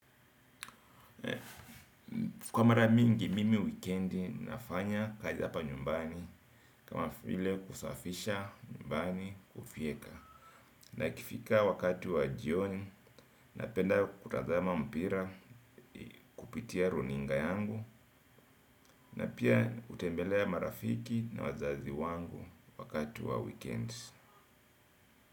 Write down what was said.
Kwa mara mingi mimi wikendi nafanya kazi hapa nyumbani kama vile kusafisha nyumbani kufyeka na ikifika wakati wa jioni napenda kutazama mpira kupitia runinga yangu na pia hutembelea marafiki na wazazi wangu wakati wa wikendi.